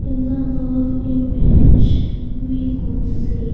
In the above image we could see --